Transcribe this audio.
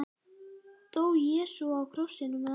Dó Jesú á krossinum eða ekki?